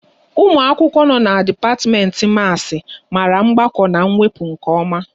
Ụmụ akwụkwọ no n'dipatimenti Maasi mara mgbakọ na wepụ nke oma